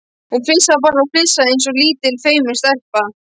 Hún flissaði bara og flissaði eins og lítil feimin stelpa.